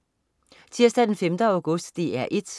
Tirsdag den 5. august - DR 1: